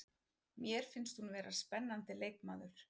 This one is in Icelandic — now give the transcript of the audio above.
Mér finnst hún vera spennandi leikmaður.